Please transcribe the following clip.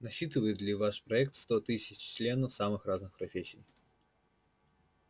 насчитывает ли ваш проект сто тысяч членов самых разных профессий